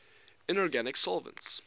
inorganic solvents